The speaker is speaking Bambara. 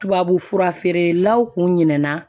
Tubabu fura feerelaw tun ɲinɛna